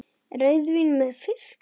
Rauðvín með fiski?